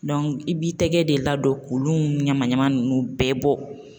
i b'i tɛgɛ de ladon k'olu ɲaman ɲaman ninnu bɛɛ bɔ